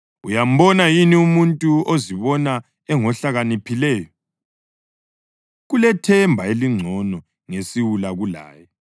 Uyambona yini umuntu ozibona engohlakaniphileyo? Kulethemba elingcono ngesiwula kulaye.